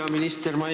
Hea minister!